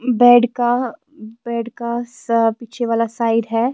. Bed که bed کا س پیچھے والا سائیڈ ہیں